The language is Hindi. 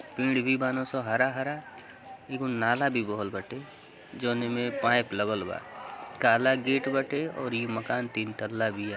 पेड़ भी बान स हरा हरा| एगो नाला भी बहल बाटे जवने में पाइप लगल बा| काला गेट बाटे आ इ मकान तीन तल्ला बिया|